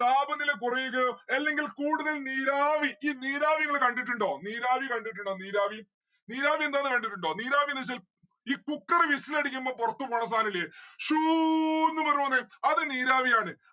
താപനില കുറയുകയോ അല്ലെങ്കിൽ കൂടുതൽ നീരാവി ഈ നീരാവി നിങ്ങള് കണ്ടിട്ടുണ്ടോ നീരാവി കണ്ടിട്ടുണ്ടോ നീരാവി നീരാവി എന്താന്ന് കണ്ടിട്ടുണ്ടോ നീരവീന്ന് വെച്ചാൽ ഈ cooker whistle അടിക്കുമ്പം പുറത്ത് പോണ സാനുല്ലേ ഷൂ ന്ന്‌ പറ പൊന്നെ അത് നീരാവി ആണ്.